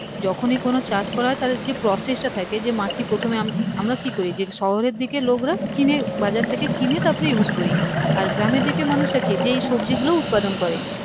যখনি কোনো চাষ করা হয় তাদের যে process টা থাকে যে মাটি প্রথমে আমরা কি করি যে শহরের দিকে লোকরা কিনে বাজার থেকে কিনে তারপরে use করি আর গ্রামের দিকে মানুষরা আর কি যেই সবজিগুলো উৎপাদন করে